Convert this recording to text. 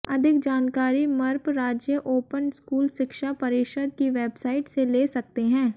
अधिक जानकारी मप्र राज्य ओपन स्कूल शिक्षा परिषद की वेबसाइट से ले सकते है